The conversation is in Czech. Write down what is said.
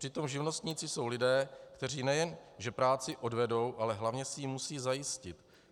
Přitom živnostníci jsou lidé, kteří nejen že práci odvedou, ale hlavně si ji musí zajistit.